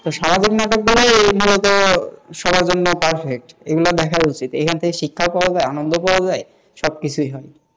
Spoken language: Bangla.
স্বাভাবিক নাটক বলতে এই মূলত সবার র জন্য perfect এগুলো দেখা উচিত এখান থেকে শিক্ষা পাওয়া যায়, আনন্দ পাওয়া যায়, সবকিছু হয়,